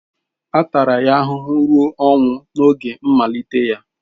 A tara ya ahụhụ ruo ọnwụ n'oge mmalite ya.